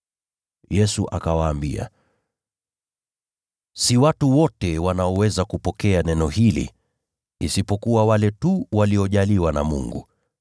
Yesu akawaambia, “Si watu wote wanaoweza kupokea neno hili, isipokuwa wale tu waliojaliwa na Mungu.